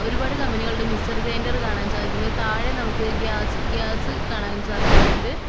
ഒരുപാട് കമ്പനികളുടെ mixer grinder കാണാൻ സാധിക്കണു ഇത് താഴെ നമക്ക് ഗ്യാസ് ഗ്യാസ് കാണാൻ സാധിക്കുന്ന്ണ്ട്.